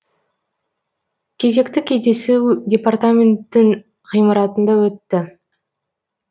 кезекті кездесу департаменттің ғимаратында өтті